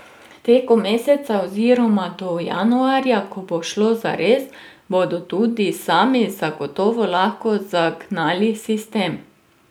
Tekom meseca oziroma do januarja, ko bo šlo zares, bodo tudi sami zagotovo lahko zagnali sistem.